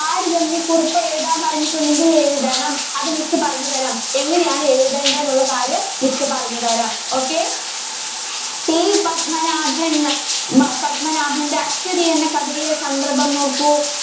താരതമ്യ കുറിപ്പ് എഴുതാന്‍ പറഞ്ഞിട്ടുണ്ടെങ്കില്‍ എഴുതണം. അത് miss പറഞ്ഞുതരാം. എങ്ങനെയാണ് എഴുതേണ്ടേ എന്നുള്ള കാര്യം miss പറഞ്ഞുതരാം. okay. T പത്മനാഭന്‍ന്ന് ഭ പത്മനാഭന്‍റെ അശ്വതി എന്ന കഥയിലെ സന്ദര്‍ഭം നോക്കൂ.